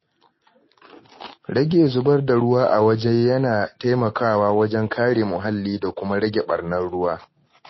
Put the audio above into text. Rage zubar da ruwa a waje yana taimakawa wajen kare muhalli da kuma rage ɓarnar ruwa.